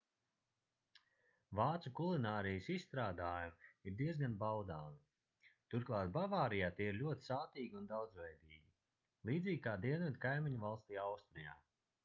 vācu kulinārijas izstrādājumi ir diezgan baudāmi turklāt bavārijā tie ir ļoti sātīgi un daudzveidīgi līdzīgi kā dienvidu kaimiņvalstī austrijā